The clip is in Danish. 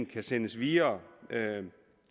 kan sendes videre